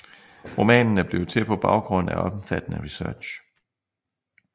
Romanen er blevet til på baggrund af omfattende research